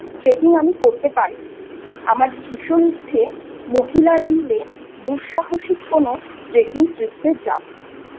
Trekking আমি করতে পারিনি৷ আমার ভীষণ ইচ্ছে মহিলারা মিলে দুঃসাহসী কোন Trekking Trips যাবI